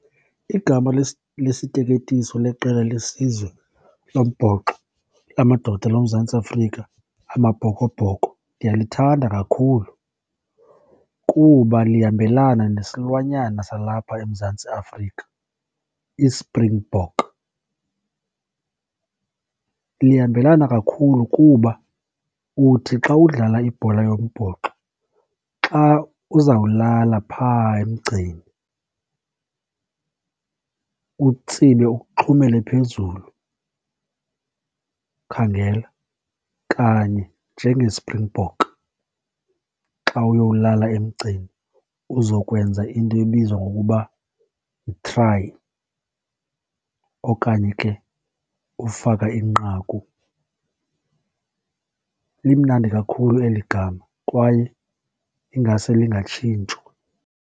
Igama lesiteketiso leqela lesizwe lombhoxo lamadoda loMzantsi Afrika, amaBhokoBhoko, ndiyalithanda kakhulu kuba lihambelane nesilwanyana salapha eMzantsi Afrika, iSpringbok. Lihambelane kakhulu kuba uthi xa udlala ibhola yombhoxo, xa uzawulala phaa emgceni utsibe uxhumele phezulu, ukhangela kanye njengeSpringbok xa uyowulala emgceni uzokwenza into ebizwa ngokuba yi-try okanye ke ufaka inqaku. Limnandi kakhulu eli gama kwaye ingase lingatshintshwa.